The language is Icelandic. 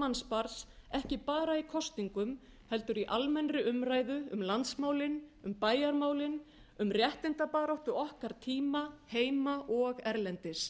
mannsbarns ekki bara í kosningum heldur í almennri umræðu um landsmálin um bæjarmálin um réttindabaráttu okkar tíma heima og erlendis